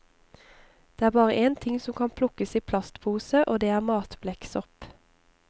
Det er bare én ting som kan plukkes i plastpose, og det er matblekksopp.